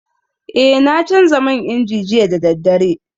Eh na canza man inji jiya da daddare